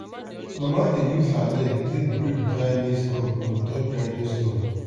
mama dey use her leg take break dry maize cob on top grinding stone.